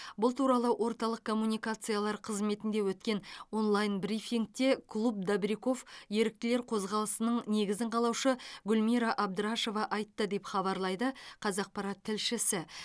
бұл туралы орталық коммуникациялар қызметінде өткен онлайн брифингте клуб добряков еріктілер қозғалысының негізін қалаушы гүлмира абдрашева айтты деп хабарлайды қазақпарат тілшісі